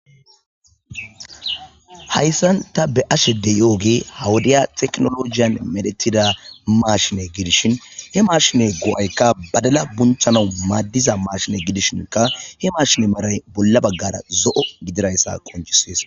hayssan ta be ashede yo7oge hawudiya teknologiyan medhetida maashine gidishin he maashine go7aykka badala bunthana maaddiza maashine gidishinka he mashine maray bolla baggara zo7o gidirayssa koncisees